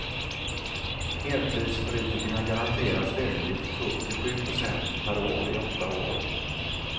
Heltidspolitikerna garanteras lönelyft på upp till sju procent per år i åtta år.